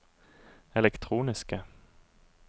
elektroniske